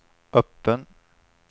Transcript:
öppen